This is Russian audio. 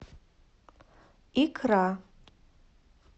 икра